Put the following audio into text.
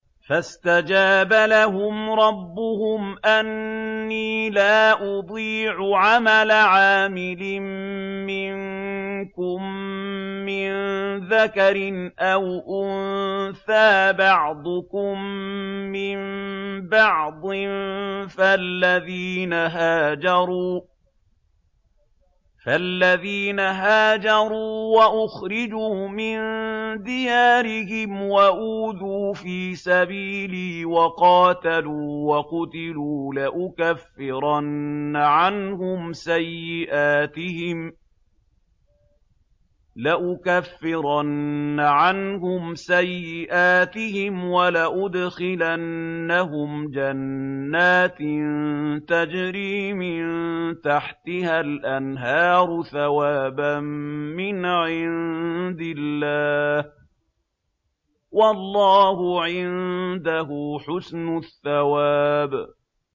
فَاسْتَجَابَ لَهُمْ رَبُّهُمْ أَنِّي لَا أُضِيعُ عَمَلَ عَامِلٍ مِّنكُم مِّن ذَكَرٍ أَوْ أُنثَىٰ ۖ بَعْضُكُم مِّن بَعْضٍ ۖ فَالَّذِينَ هَاجَرُوا وَأُخْرِجُوا مِن دِيَارِهِمْ وَأُوذُوا فِي سَبِيلِي وَقَاتَلُوا وَقُتِلُوا لَأُكَفِّرَنَّ عَنْهُمْ سَيِّئَاتِهِمْ وَلَأُدْخِلَنَّهُمْ جَنَّاتٍ تَجْرِي مِن تَحْتِهَا الْأَنْهَارُ ثَوَابًا مِّنْ عِندِ اللَّهِ ۗ وَاللَّهُ عِندَهُ حُسْنُ الثَّوَابِ